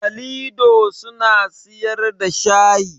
Kalido suna siyar da shayi